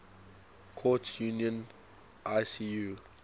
courts union icu